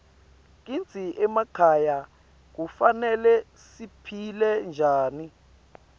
kitsi emakhaya kufanele siphile njani